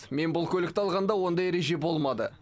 мен бұл көлікті алғанда ондай ереже болмады